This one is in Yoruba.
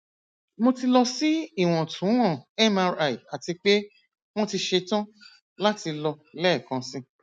mo ti lọ si iwọntunwọn mri ati pe wọn ti ṣetan lati lọ lẹẹkansi